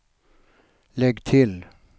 lägg till